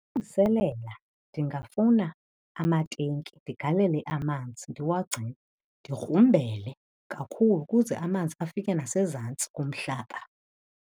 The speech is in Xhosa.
Ndingafuna amatenki ndigalele amanzi ndiwagcine. Ndigrumbele kakhulu kuze amanzi afike ngasezantsi komhlaba.